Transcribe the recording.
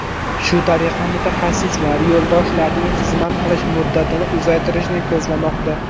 Shu tariqa mutaxassislar yo‘ldoshlarning xizmat qilish muddatini uzaytirishni ko‘zlamoqda.